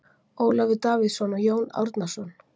Ólafur Davíðsson og Jón Árnason.